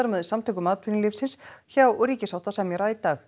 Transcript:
með Samtökum atvinnulífsins hjá ríkissáttasemjara í dag